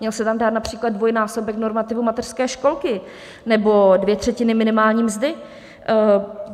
Měl se tam dát například dvojnásobek normativu mateřské školky nebo dvě třetiny minimální mzdy.